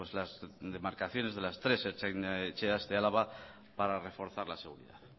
las demarcaciones de las tres ertzain etxeas de álava para reforzar la seguridad